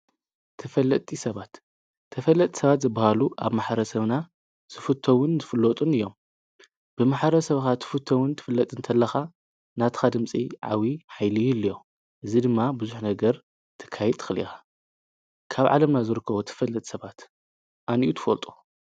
ተፈለጢ ሰባት ተፈለጥ ሰባት ዝብሃሉ ኣብ መሓረ ሰብና ስፉተውን ዘፍለጡን እዮም ብመሓረ ሰብኻ ትፉተውን ትፍለጥ እንተለኻ ናትኻ ድምፂ ዓዊ ኃይሊዩልዮም እዝ ድማ ብዙኅ ነገር ትካይ ጥኽሊኻ ካብ ዓለምናዘርክዎ ትፈለጥ ሰባት ኣንዩ ትፈልጦ።